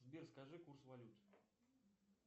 сбер скажи курс валют